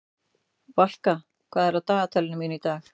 Valka, hvað er á dagatalinu mínu í dag?